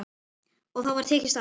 Og þá var tekist á.